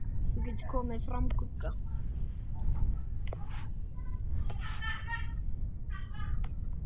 Þú getur komið fram, Gugga!